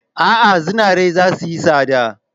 A'a, zinare zai yi tsada.